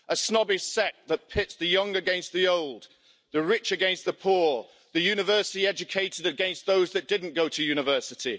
A snobbish sect that pits the young against the old, the rich against the poor, the university educated against those that didn't go to university.